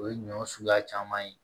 O ye ɲɔ suguya caman ye